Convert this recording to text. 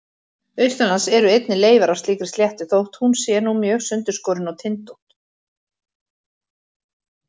Austanlands eru einnig leifar af slíkri sléttu þótt hún sé nú mjög sundurskorin og tindótt.